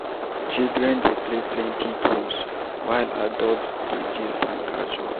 Children dey play plenty games while adults dey gist and catch up.